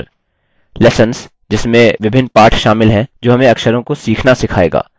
lessons – जिसमें विभिन्न पाठ शामिल हैं जो हमें अक्षरों को सीखना सिखायेगा